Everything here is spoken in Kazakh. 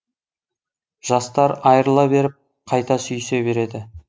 жастар айрыла беріп қайта сүйісе береді